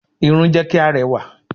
Irun jẹ́ kí a rẹwà.